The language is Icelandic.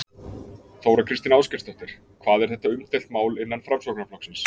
Þóra Kristín Ásgeirsdóttir: Hvað er þetta umdeilt mál innan Framsóknarflokksins?